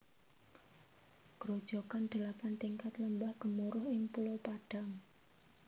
Grojogan Delapan Tingkat Lembah Gemuruh ing Pulau Padang